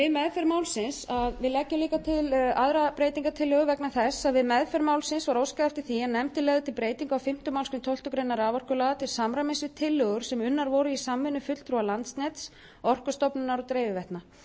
hana við leggjum líka til aðra breytingartillögu vegna þess að við meðferð málsins var óskað eftir því að nefndin legði til breytingu á fimmtu málsgrein tólftu greinar raforkulaga til samræmis við tillögur sem unnar voru í samvinnu fulltrúa landsnets orkustofnunar og dreifiveitna